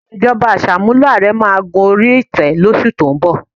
Ìṣèjọba Àṣàmúlò ààrẹ máa gorí ìtẹ́ lóṣù tó ń bọ̀